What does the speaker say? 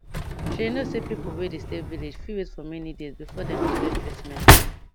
shey you know say pipo wey dey stay village fit wait for many days before before dem go get treatment